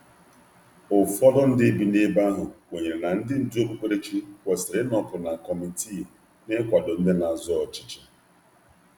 Ụfọdụ ndị bi n’ebe ahụ kwenyere na ndị ndú okpukperechi kwesịrị ịnọpụ na kọmitii n’ịkwado ndị na-azọ ọchịchị.